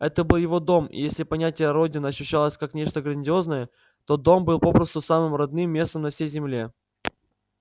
это был его дом и если понятие родина ощущалось как нечто грандиозное то дом был попросту самым родным местом на всей земле